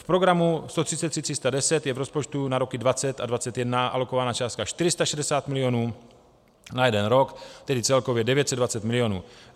V programu 133310 je v rozpočtu na roky 2020 a 2021 alokovaná částka 460 milionů na jeden rok, tedy celkově 920 milionů.